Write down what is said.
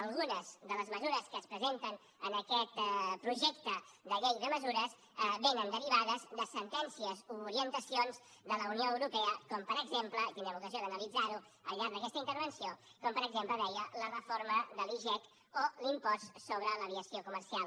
algunes de les mesures que es presenten en aquest projecte de llei de mesures vénen derivades de sentències o orientacions de la unió europea com per exemple i tindrem ocasió d’analitzar ho al llarg d’aquesta intervenció la reforma de l’igec o l’impost sobre l’aviació comercial